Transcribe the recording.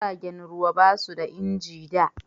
jiragen ruwa ba su da inji da